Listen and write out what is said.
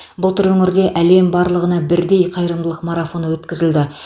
былтыр өңірде әлем барлығына бірдей қайырымдылық марафоны өткізілді